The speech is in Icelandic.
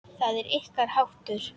Það er ykkar háttur.